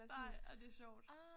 Nej ej det er sjovt